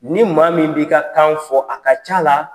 Ni maa min b'i ka kan fɔ a ka c'a la